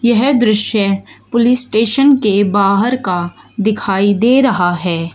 यह दृश्य police station के बाहर का दिखाई दे रहा है।